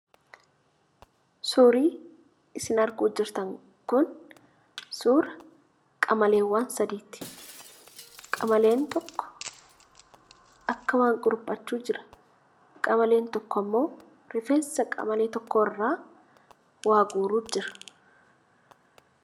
Suurrii isin arguuf jirtan kun suura qamaleewwan sadiiti. Qamaleen tokko akka waan kuruphachuu jira; qamaleen tokko ammoo rifeensa qamalee tokko irraa waa guuruuf jira.